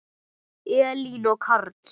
Elín og Karl.